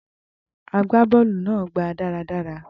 Agbá bọ́ọ̀lù náà gba daradara